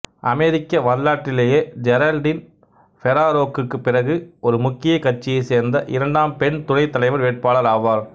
அமெரிக்க வரலாற்றிலேயே ஜெரல்டீன் ஃபெராரோக்கு பிறகு ஒரு முக்கிய கட்சியைச் சேர்ந்த இரண்டாம் பெண் துணைத் தலைவர் வேட்பாளர் ஆவார்